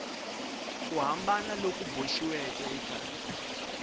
ku hambana loku boxiweke eka